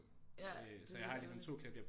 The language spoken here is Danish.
Ja det er virkelig underligt